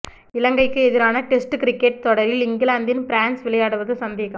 இலங்கைக்கு எதிரான test cricket தொடரில் இங்கிலாந்தின் பேர்ன்ஸ் விளையாடுவது சந்தேகம்